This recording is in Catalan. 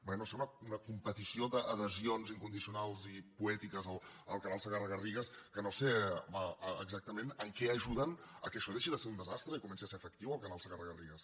vaja sembla una competició d’adhesions incondicionals i poètiques al canal segarra garrigues que no sé exactament en què ajuden que això deixi de ser un desastre i comenci a ser efectiu el canal segarra garrigues